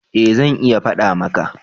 eh zan iya fada maka